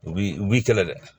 U b'i u b'i kɛlɛ dɛ